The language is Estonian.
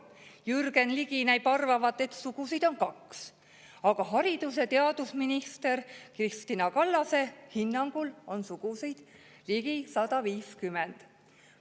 Jürgen Ligi näib arvavat, et sugusid on kaks, aga haridus- ja teadusminister Kristina Kallase hinnangul on sugusid ligi 150.